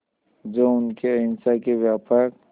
जो उनके अहिंसा के व्यापक